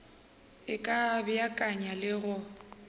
e ka beakanya le go